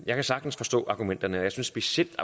jeg kan sagtens forstå argumenterne jeg synes specielt